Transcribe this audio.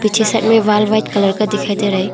पीछे की साइड में वॉल व्हाइट कलर का दिखाई दे रहा है।